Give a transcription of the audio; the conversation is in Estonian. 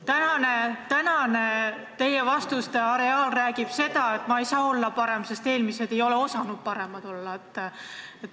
Teie tänaste vastuste areaal kannab sõnumit, et ma ei saa olla hea, sest eelmised ministrid ei ole osanud head olla.